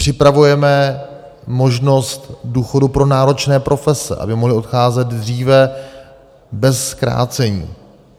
Připravujeme možnost důchodu pro náročné profese, aby mohly odcházet dříve bez zkrácení.